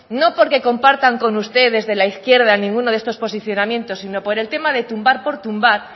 no porque compartan con usted desde la izquierda ninguno de estos posicionamiento sino por el tema de tumbar por tumbar